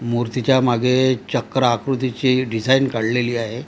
मूर्तीच्या मागे चक्र आकृतीची डिझाईन काढलेली आहे.